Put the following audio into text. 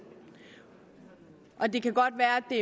det kan godt være at det